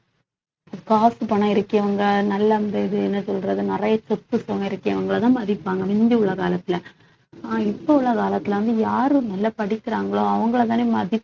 காசு, பணம் இருக்கறவங்க நல்ல அந்த இது என்ன சொல்றது நிறைய சொத்து சுகம் இருக்கறவிய அவங்களைதான் மதிப்பாங்க முந்தி உள்ள உலகத்துல ஆனா இப்ப உள்ள காலத்துல வந்து யாரு நல்லா படிக்கறாங்களோ அவங்களைத்தானே மதிப்~